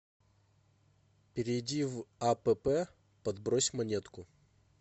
перейди в апп подбрось монетку